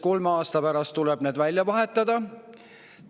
Kolme aasta pärast tuleb need välja vahetada.